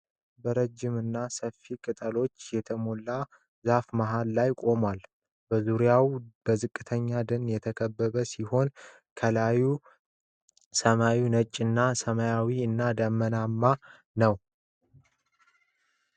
በረጅምና ሰፋፊ ቅጠሎች የተሞላው ዛፍ መሃል ላይ ይቆማል። በዙሪያው በዝቅተኛ ደን የተከበበ ሲሆን፣ ከላይ ሰማዩ ነጭና ሰማያዊ እና ደመናማ ነው።